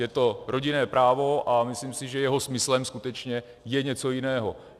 Je to rodinné právo a myslím si, že jeho smyslem skutečně je něco jiného.